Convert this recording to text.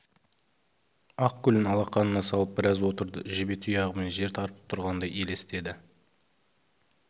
ақ гүлін алақанына салып біраз отырды жебе тұяғымен жер тарпып тұрғандай елестеді